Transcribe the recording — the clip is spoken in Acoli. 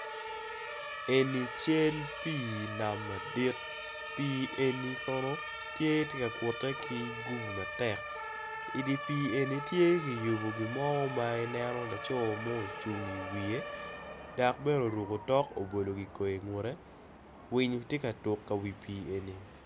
Eni cal pi nam madit pi pi eni kono tye tye ka kute ki gubu matek idi pi eni tye kiyubo gimo tye ma ineno laco mo ocung i wiye dok bene oruko tok obolo kikoi ingute winyo tye ka tuko ka wi pi eni.